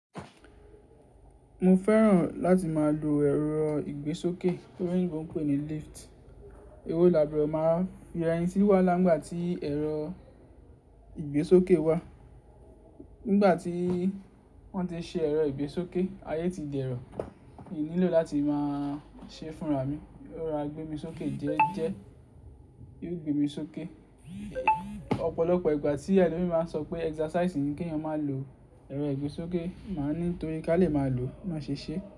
Mo fẹ́ràn láti máa lo ẹ̀rọ ìgbésókè ti oloyinbo n pé ni lift. Ewó láburo máa wa fi ra ẹni si wàhala nigbà tí ẹ̀rọ ìgbésókè wà. Nígbà tí wọ́n ti ṣe ẹ̀rọ ìgbésókè, ayé ti di ẹ̀rọ. N nílò láti máa ṣé fúnra mi. Ó rora gbé mi sókè jẹ́ẹ́jẹ́, yóò gbé mi sókè. Ọ̀pọ̀lọpọ̀ ìgbà tí elomii máa ń sọ pé exercise ní kí èèyàn má lò ẹ̀rọ ìgbésókè, màá ní torí ká lè máa lò ni won ṣe see.